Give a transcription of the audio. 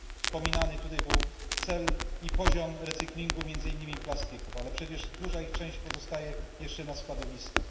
Wspominany tutaj został cel i poziom recyklingu między innymi plastików, ale przecież duża ich część pozostaje jeszcze na składowiskach.